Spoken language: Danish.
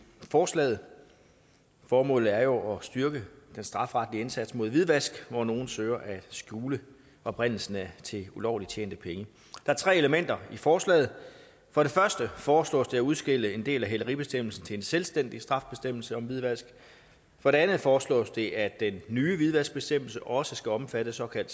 forslaget formålet er jo at styrke den strafferetlige indsats mod hvidvask hvor nogle søger at skjule oprindelsen til ulovligt tjente penge der er tre elementer i forslaget for det første foreslås det at udskille en del af hæleribestemmelsen til en selvstændig straffebestemmelse om hvidvask for det andet foreslås det at den nye hvidvaskbestemmelse også skal omfatte såkaldt